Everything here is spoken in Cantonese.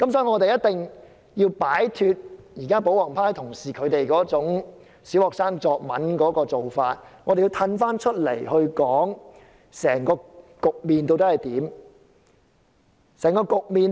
我們必須擺脫保皇派同事那種小學生作文的思維，退一步來看整個局面究竟是怎樣？